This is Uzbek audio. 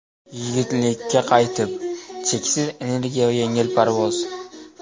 Yigitlikka qaytib: cheksiz energiya va yengil parvoz.